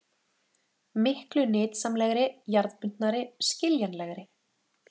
Miklu nytsamlegri, jarðbundnari, skiljanlegri!